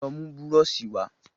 Lọ mú búrọ̀ṣì wa